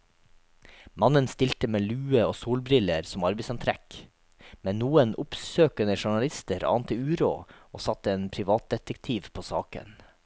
Mannen stilte med lue og solbriller som arbeidsantrekk, men noen oppsøkende journalister ante uråd og satte en privatdetektiv på saken.